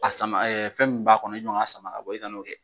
A sama ɛɛ fɛn min b'a kɔnɔ iɔ n k'a sama ka bɔ e kana o kɛ